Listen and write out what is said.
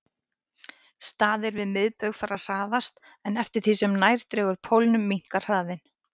Staðir við miðbaug fara hraðast en eftir því sem nær dregur pólunum minnkar hraðinn.